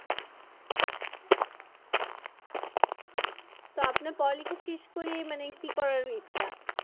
তো আপনার পড়ালেখা শেষ করে মানে কি করার ইচ্ছা?